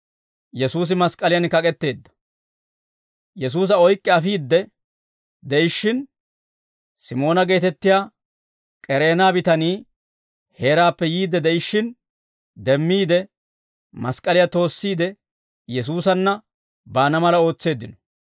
Yesuusa oyk'k'i afiidde de'ishshin, Simoona geetettiyaa K'ereena bitanii heeraappe yiidde de'ishshin demmiide, mask'k'aliyaa toossiide Yesuusanna baana mala ootseeddino.